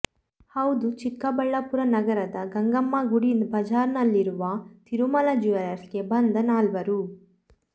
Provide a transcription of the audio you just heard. ಹೌದು ಚಿಕ್ಕಬಳ್ಳಾಪುರ ನಗರದ ಗಂಗಮ್ಮ ಗುಡಿ ಬಜಾರ್ನಲ್ಲಿರುವ ತಿರುಮಲ ಜ್ಯುವೆಲ್ಲರ್ಸ್ಗೆ ಬಂದ ನಾಲ್ವರು